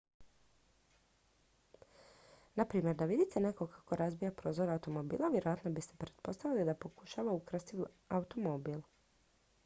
na primjer da vidite nekog kako razbija prozor automobila vjerojatno biste pretpostavili da pokušava ukrasti automobil